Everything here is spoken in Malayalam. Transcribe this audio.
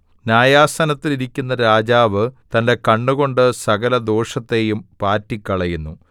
ന്യായാസനത്തിൽ ഇരിക്കുന്ന രാജാവ് തന്റെ കണ്ണുകൊണ്ട് സകലദോഷത്തെയും പാറ്റിക്കളയുന്നു